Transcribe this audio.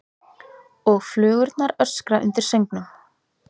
Og flugurnar öskra undir söngnum.